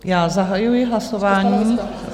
Já zahajuji hlasování...